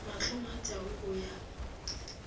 mahlong a tau o ya